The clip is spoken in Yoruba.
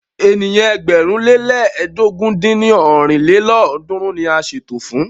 Ènìyàn ẹgbẹ̀rún le lẹ́ẹdógún dín ní ọ́rin lélọ́ọ̀dúnrún ni a ṣètò fún.